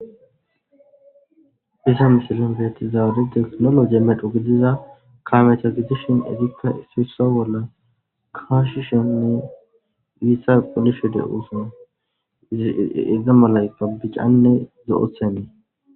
Hayssa missilen bettizay dumma dumma salo medhdho kaamey bokiddi biitta qollishe dossona.